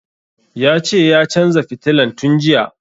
Ya ce ya canza fitilan tun jiya